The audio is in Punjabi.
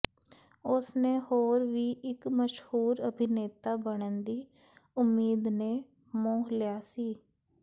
ਉਸ ਨੇ ਹੋਰ ਵੀ ਇੱਕ ਮਸ਼ਹੂਰ ਅਭਿਨੇਤਾ ਬਣਨ ਦੀ ਉਮੀਦ ਨੇ ਮੋਹ ਲਿਆ ਸੀ